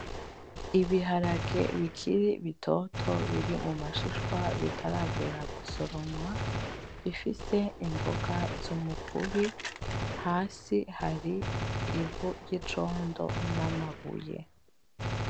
Ibiharage bikiri bitoto biri mu mashishwa bitaragera gusoromwa bifise imboga z'umukubi hasi hari ivu ry'icondo n'amabuye.